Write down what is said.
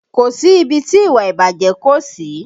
Kò sí ibi tí ìwà ìbàjẹ́ kò sí